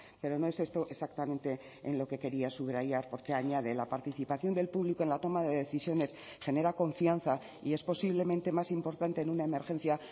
pero no es esto exactamente en lo que quería subrayar porque añade la participación del público en la toma de decisiones genera confianza y es posiblemente más importante en una emergencia